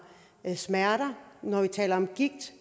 smerter når vi taler om gigt